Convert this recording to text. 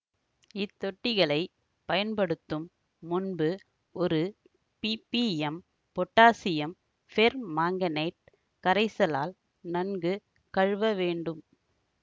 இத்தொட்டிகளைப் பயன்படுத்தும் முன்பு ஒரு பிபிஎம் பொட்டாசியம் பெர்மாங்கனேட் கரைசலால் நன்கு கழுவ வேண்டும்